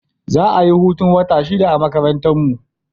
Za a yi hutun wata shida a makarantarmu.